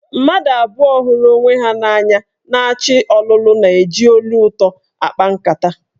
Mmadụ abụọ hụrụ onwe ha n'anya na-achọ ọlụlụ na-eji olu ụtọ akpa nkata.